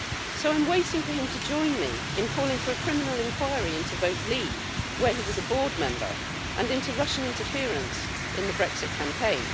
So I'm waiting for him to join me in calling for a criminal inquiry into Vote Leave', of which he was a board member, and into Russian interference in the Brexit campaign.